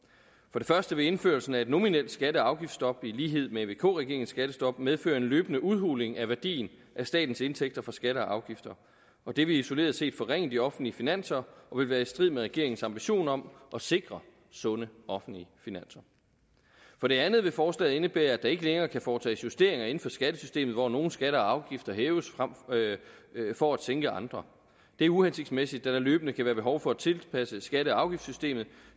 for det første vil indførelsen af et nominelt skatte og afgiftsstop i lighed med vk regeringens skattestop medføre en løbende udhuling af værdien af statens indtægter fra skatter og afgifter og det vil isoleret set forringe de offentlige finanser og vil være i strid med regeringens ambition om at sikre sunde offentlige finanser for det andet vil forslaget indebære at der ikke længere kan foretages justeringer inden for skattesystemet hvor nogle skatter og afgifter hæves for at sænke andre det er uhensigtsmæssigt da der løbende kan være behov for at tilpasse skatte og afgiftssystemet